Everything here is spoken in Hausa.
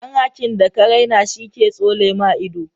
Dan hakin da ka raina shi ke tsole ma ido.